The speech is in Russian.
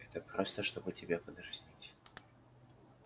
это просто чтобы тебя подразнить